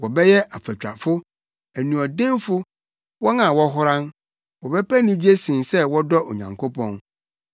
wɔbɛyɛ afatwafo, anuɔdenfo, wɔn a wɔhoran; wɔbɛpɛ anigye sen sɛ wɔdɔ Onyankopɔn.